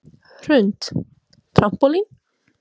Hrund: Trampólín?